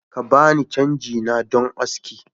Ka ba ni cangi na don aski